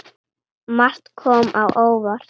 Margt kom á óvart.